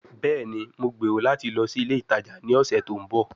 Bẹẹni, Mo gbero lati lọ si ile itaja ni ọsẹ to nbọ